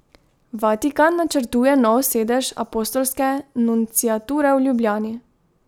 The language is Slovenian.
Vatikan načrtuje nov sedež apostolske nunciature v Ljubljani.